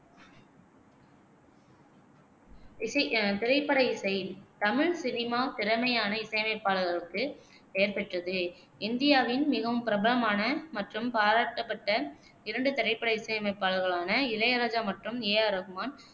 இசை திரைப்பட இசை தமிழ் சினிமா திறமையான இசையமைப்பாளர்களுக்கு பெயர் பெற்றது. இந்தியாவின் மிகவும் பிரபலமான மற்றும் பாராட்டப்பட்ட இரண்டு திரைப்பட இசையமைப்பாளர்களான இளையராஜா மற்றும் ஏ ஆர் ரஹ்மான்